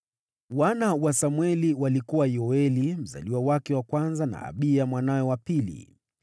Wana wa Samweli walikuwa: Yoeli mzaliwa wake wa kwanza, na Abiya mwanawe wa pili.